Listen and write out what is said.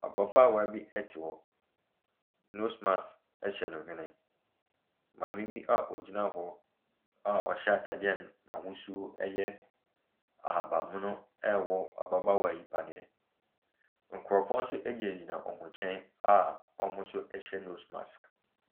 Ababaawa bi te hɔ. Nose mask nyɛ ne nhwene. Maame bi a ɔgyina hɔ a ɔhyɛ atadeɛ a n'ahosuo yɛ ahabammono rewɔ ababaawa yi paneɛ. Nkurɔfoɔ nso gyinagyina wɔn nkyɛn a wɔn nso hyɛ nose mask.